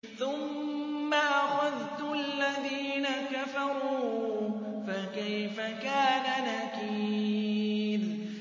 ثُمَّ أَخَذْتُ الَّذِينَ كَفَرُوا ۖ فَكَيْفَ كَانَ نَكِيرِ